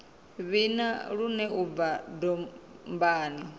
vhina lune u bva dombani